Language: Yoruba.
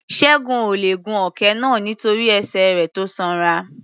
Ṣẹ́gun ò le è gun òkè náà nítorí ẹsẹ̀ rẹ̀ tó sanra.